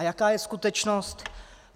A jaká je skutečnost?